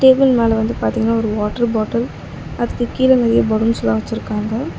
Table மேல வந்து பாத்தீங்னா ஒரு வாட்டர் பாட்டில் அதுக்கு கீழ நெறையா பலூன்ஸ் எல்லா வச்சிருக்காங்க.